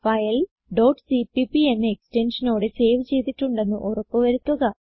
file cpp എക്സ്റ്റൻഷനോടെ save ചെയ്തിട്ടുണ്ടെന്ന് ഉറപ്പു വരുത്തുക